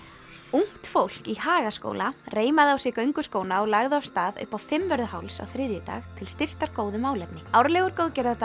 ungt fólk í Hagaskóla reimaði á sig gönguskóna og lagði af stað upp á Fimmvörðuháls á þriðjudag til styrktar góðu málefni árlegur